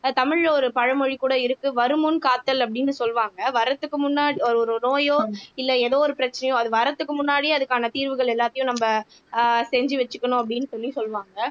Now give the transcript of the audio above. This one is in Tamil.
தமிழ்ல ஒரு பழமொழி கூட இருக்கு வருமுன் காத்தல் அப்படின்னு சொல்லுவாங்க வர்றதுக்கு முன்னா ஒரு ஒரு நோயோ இல்லை ஏதோ ஒரு பிரச்சனையோ அது வரதுக்கு முன்னாடியே அதுக்கான தீர்வுகள் எல்லாத்தையும் நம்ம ஆஹ் செஞ்சு வச்சுக்கணும் அப்படின்னு சொல்லி சொல்லுவாங்க